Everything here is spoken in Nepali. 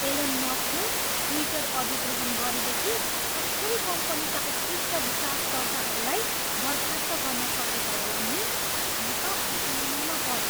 एलोन मस्कले ट्विटर अधिग्रहण गरेदखि कसरी कम्पनीका उत्कृष्ट विकासकर्ताहरूलाई बर्खास्त गर्न सकेका होलान् नि? म त अचम्ममा परेँ।